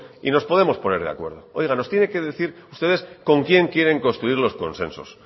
y nos podemos poner de acuerdo oiga nos tiene que decir ustedes con quién quieren construir los consensos